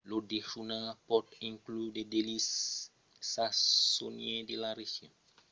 lo dejunar pòt inclure de delicis sasonièrs de la region o lo plat d'especialitat de l'òste